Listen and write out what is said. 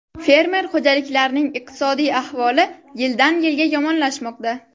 Fermer xo‘jaliklarining iqtisodiy ahvoli yildan-yilga yomonlashmoqda.